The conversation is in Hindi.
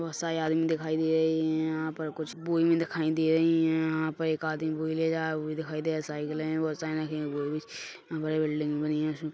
बहोत सारे आदमी दिखाई दे रहे है यहाँ पर कुछ बोरी भी दिखाई दे रही है यहाँ पर एक आदमी बोरी ले जाते हुए भी दिखाई दे साइकिलें भी बहोत सारी रखी हुई यहाँ पर एक बिल्डिंग बनी है।